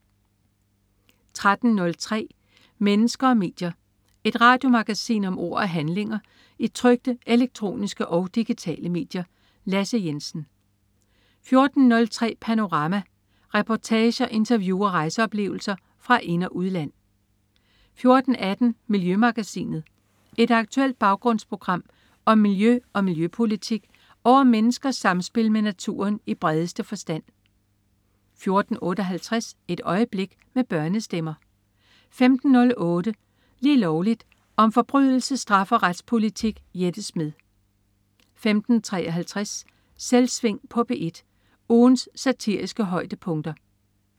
13.03 Mennesker og medier. Et radiomagasin om ord og handlinger i trykte, elektroniske og digitale medier. Lasse Jensen 14.03 Panorama. Reportager, interview og rejseoplevelser fra ind- og udland 14.18 Miljømagasinet. Et aktuelt baggrundsprogram om miljø og miljøpolitik og om menneskers samspil med naturen i bredeste forstand 14.58 Et øjeblik. Med børnestemmer 15.08 Lige Lovligt. Om forbrydelse, straf og retspolitik. Jette Smed 15.53 Selvsving på P1. Ugens satiriske højdepunkter